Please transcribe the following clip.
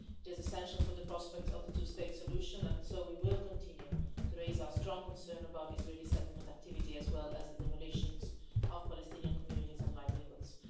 It is essential for the prospect of the two state solution, and so we will continue to raise our strong concerns about Israeli settlement activity, as well as the demolition of Palestinian communities and livelihoods.